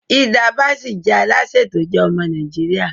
Hilda Baci jẹ alase to je ọmọ Naijiria